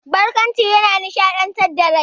Barƙwanci yana nishaɗantar da rai.